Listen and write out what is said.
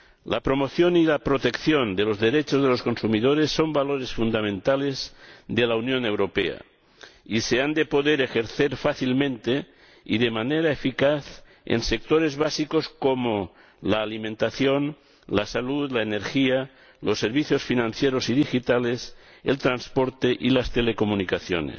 La promoción y la protección de los derechos de los consumidores son valores fundamentales de la Unión Europea y se han de poder ejercer fácilmente y de manera eficaz en sectores básicos como la alimentación, la salud, la energía, los servicios financieros y digitales, el transporte y las telecomunicaciones.